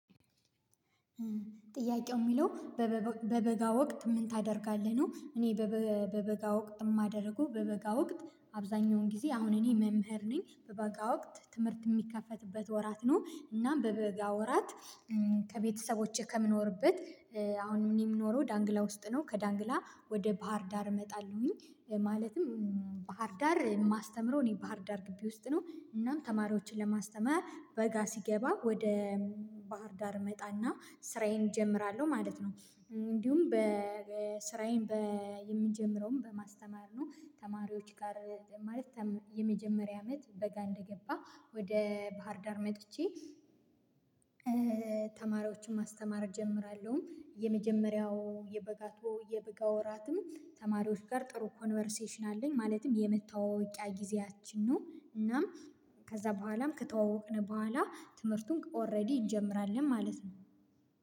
ጥያቄው የሚለው በበጋ ወቅት ምን ታደርጋለህ ነው? እኔ በበጋ ወቅት የማደርገው በበጋ ወቅት አብዛኛውን ጊዜ አሁን እኔ መምህር ነኝ በበጋ ወቅት ትምህርት የሚከፈትበት ወራት ነው እናም በበጋ ወራት ከቤተሰቦቼ ከምኖርበት አሁን ምን የምኖረው ዳንግላ ውስጥ ነው። ከዳንግላ ወደ ባህር ዳር እመጣለሁኝ ማለትም ባህር ዳር የማስተምረው እኔ ባህር ዳር ግቢ ውስጥ ነው እናም ተማሪዎችን ለማስተማር በጋ ሲገባ ወደ ባህር ዳር እመጣና ስራዬን እጀምራለሁ ማለት ነው። እንዲሁም በስራዬን በየምንጀምረውም በማስተማር ነው ተማሪዎች ጋር ማለት። የመጀመሪያ አመት በጋ እንደገባ ወደ ባህርዳር መጥቼ ተማሪዎችን ማስተማር እጀምራለሁኝ የመጀመሪያው የበጋቶ የበጋ ወራትም ተማሪዎች ጋር ጥሩ ኮንቨርሴሽን አለኝ ማለትም የምታወውቂያ ጊዜያችን ነው። እናም ከዛ በኋላም ከተዋወቅን በኋላ ትምህርቱን ኦሬዲ ይጀምራል ማለት ነው።